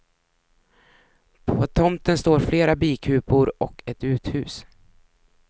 På tomten står flera bikupor och ett uthus.